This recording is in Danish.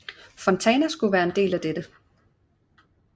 Fontana skulle være en del af dette